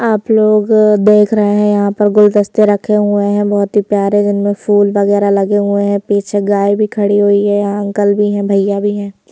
आप लोग देख रहे हैं यहां पर गुलदस्ते रखे हुए हैं बहुत ही प्यारे जिनमें फूल वगैरह लगे हुए हैं पीछे गाय भी खड़ी हुई हैं यहां अंकल भी हैं भैया भी हैं।